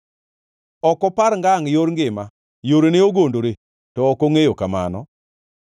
Ok opar ngangʼ yor ngima; yorene ogondore, to ok ongʼeyo kamano.